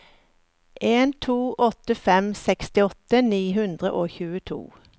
en to åtte fem sekstiåtte ni hundre og tjueto